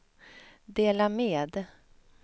dela med